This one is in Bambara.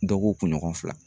Dɔ ko kunɲɔgɔn fila